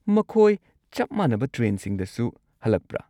ꯃꯈꯣꯏ ꯆꯞ ꯃꯥꯟꯅꯕ ꯇ꯭ꯔꯦꯟꯁꯤꯡꯗꯁꯨ ꯍꯜꯂꯛꯄ꯭ꯔꯥ?